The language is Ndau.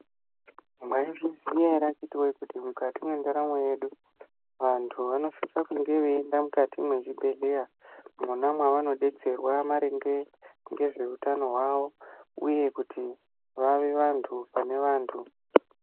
Mwayizviziva here kuti mukati mentaramo yedu vantu vanosisa kunge beyienda mukati mezvibhedlera mona mavanodetserwa maringe ngezvehutano hwavo uyekuti vavevantu panevantu.